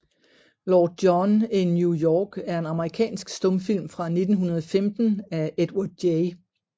Lord John in New York er en amerikansk stumfilm fra 1915 af Edward J